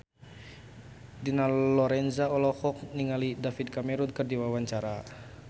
Dina Lorenza olohok ningali David Cameron keur diwawancara